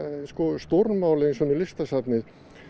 stórmál eins og með Listasafnið